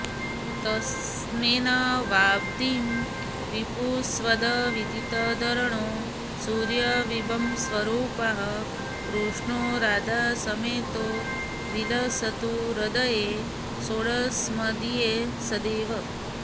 तत्स्नेहाब्धिं वपुश्चेदविदितधरणौ सूर्यबिम्बस्वरूपाः कृष्णो राधासमेतो विलसतु हृदये सोऽस्मदीये सदैव